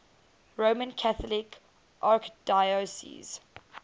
roman catholic archdiocese